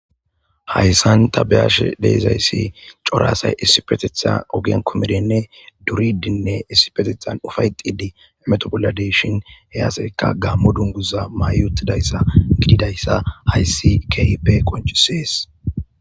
hayssan ta beyashe de'izayssi cora asay issipetitha ogen kumidinne duridinne issipetithan ufayetidi hemeto bolla de'shn he asayka gaammo dunguza may utidayssa gididayssa hayssi keehippe qoncises.